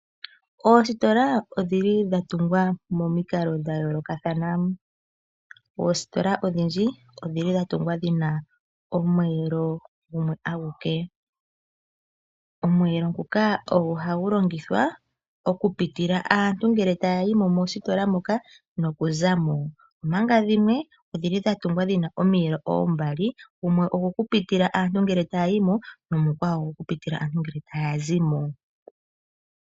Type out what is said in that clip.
Ositola odhili dhatungwa nominkalo dhayoloka thana , ositola odhindji odhili dhatungwa dhina omwelo gumwe anguke omwelo nguka ogo hangulongithwa okupitila aantu ngele tayimo mositola moka nokuzamo, omaga dhimwe odhili dhatungwa dhina omiyelo ombaali gumwe ogoku pitila aantu ngele tayimo nomukwawo ogoku pitila aantu ngele tazimo.